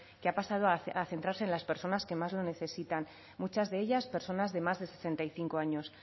que ha pasado a centrarse en las personas que más lo necesitan muchas de ellas personas de más de sesenta y cinco años